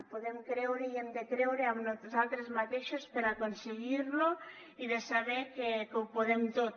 podem creure i hem de creure en nosaltres mateixos per aconseguir lo i de saber que ho podem tot